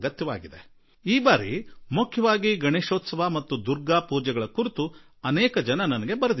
ನನಗೆ ಅನೇಕರು ವಿಶೇಷವಾಗಿ ಗಣೇಶೋತ್ಸವ ಮತ್ತು ದುರ್ಗಾಪುಜೆ ಈ ವಿಷಯಗಳ ಕುರಿತು ಬಹಳಷ್ಟು ಬರೆದಿದ್ದಾರೆ